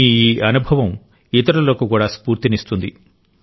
మీ ఈ అనుభవం ఇతరులకు కూడా స్ఫూర్తినిస్తుంది